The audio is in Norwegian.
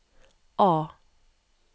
A